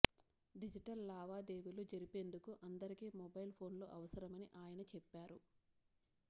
digital లావాదేవీలు జరిపేందుకు అందరికీ మొబైల్ ఫోన్లు అవసరమని ఆయన చెప్పారు